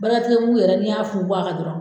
Baaratigi mugu yɛrɛ, ne y'a fun fun a ka dɔrɔn.